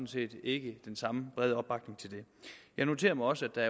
set ikke den samme brede opbakning til det jeg noterer mig også at